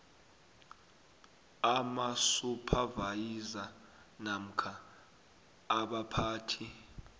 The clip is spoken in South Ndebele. amasuphavayiza namkha abaphathi